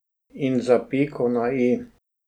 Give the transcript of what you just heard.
In za piko na i?